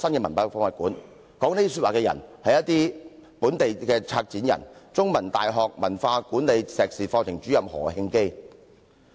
說出剛才這番話的，正是本地的策展人——香港中文大學文化管理碩士課程主任何慶基。